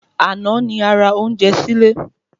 Àná ni a ra ounjẹ sílé